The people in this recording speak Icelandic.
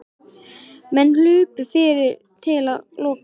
Menn hlupu fyrir til að loka.